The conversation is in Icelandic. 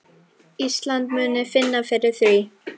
Ísland muni finna fyrir því.